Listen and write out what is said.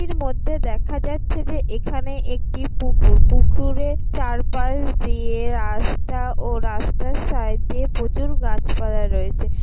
এর মধ্যে দেখা যাচ্ছে যে এখানে একটি পুকুর। পুকুরের চারপাশ দিয়ে রাস্তা ও রাস্তার সাইড দিয়ে প্রচুর গাছপালা রয়েছে।